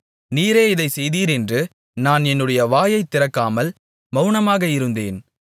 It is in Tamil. நீரே இதைச் செய்தீர் என்று நான் என்னுடைய வாயைத் திறக்காமல் மவுனமாக இருந்தேன்